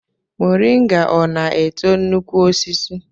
Moringa ọ na-eto nnukwu osisi?